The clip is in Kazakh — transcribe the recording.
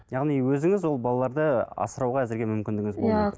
яғни өзіңіз ол балаларды асырауға әзірге мүмкіндігіңіз